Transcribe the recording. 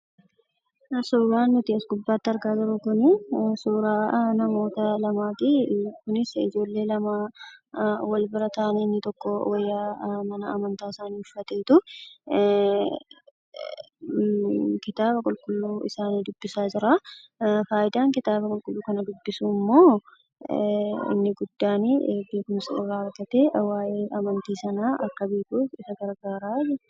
Suuraan nuti as gubbaatti argaa jirru kun suuraa namoota lamaati. Innis suuraa ijoollee lama wal bira taa'anii inni tokko wayyaa mana amantaa isaa uffateetu kitaaba qulqulluu isaa dubbisaa jira. Fayidaan kitaaba qulqulluu kana dubbisuu immoo inni guddaan beekumsa irraa argatee waayee amantii sanaa akka beekuuf isa gargaara.